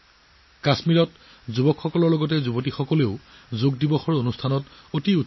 কাশ্মীৰৰ যুৱক যুৱতীসকলৰ লগতে যোগ দিৱসত ভগ্নী আৰু কন্যাসকলে অংশগ্ৰহণ কৰিছিল